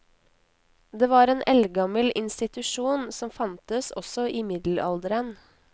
Det var en eldgammel institusjon som fantes også i middelalderen.